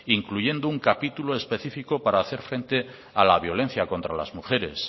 incluyendo un capítulo específico para hacer frente a la violencia contra las mujeres